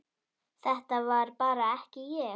Þetta var bara ekki ég.